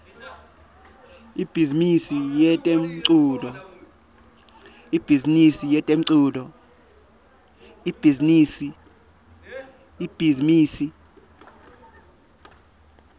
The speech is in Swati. ibhizimisi yetemculo